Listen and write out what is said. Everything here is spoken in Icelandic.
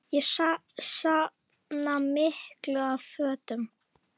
Ég safna miklu af fötum.